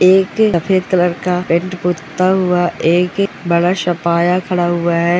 एक सफेद कलर का पेंट टूटा हुआ एक बड़ा सा पाया खड़ा हुआ है।